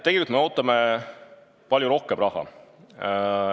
Tegelikult me ootame siia palju rohkem raha.